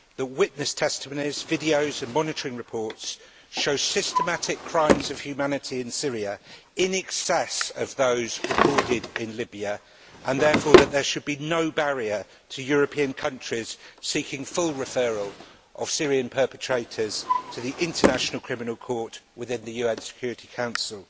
The witness testimonies, videos and monitoring reports show systematic crimes of humanity in Syria in excess of those recorded in Libya and that therefore there should be no barrier to European countries seeking full referral of Syrian perpetrators to the International Criminal Court within the UN Security Council.